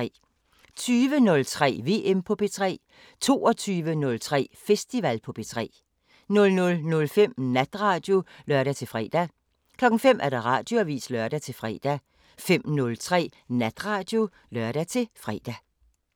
20:03: VM på P3 22:03: Festival på P3 00:05: Natradio (lør-fre) 05:00: Radioavisen (lør-fre) 05:03: Natradio (lør-fre)